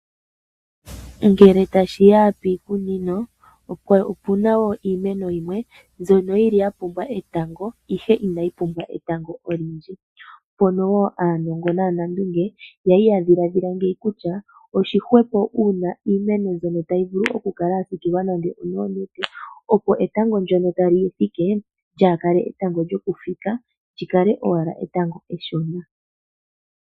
Ngele ta shiya piikunino opuna wo iimeno yimwe mbyono yili ya pumbwa etango ihe inayi pumbwa etango olindji. Mpono wo aanongo naa nandunge yali ya dhilaadhila ngeyi kutya oshihwepo uuna iimeno mbyono tayi vulu oku kala ya siikilwa nande onoonete, opo etango ndyono tali yifike lyaakale etango lyoku fika li kale owala etango eshona